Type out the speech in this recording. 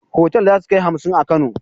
Otal zasukai hamsin a kano